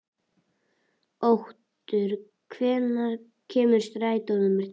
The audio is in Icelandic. Otur, hvenær kemur strætó númer tólf?